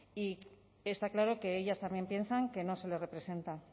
y está claro que ellas también piensan que no se les representa